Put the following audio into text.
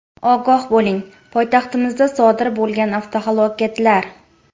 Ogoh bo‘ling: poytaxtimizda sodir bo‘lgan avtohalokatlar.